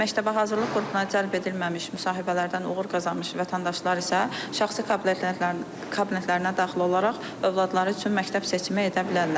Məktəbə hazırlıq qrupuna cəlb edilməmiş müsahibələrdən uğur qazanmış vətəndaşlar isə şəxsi kabinetlərinə daxil olaraq övladları üçün məktəb seçimi edə bilərlər.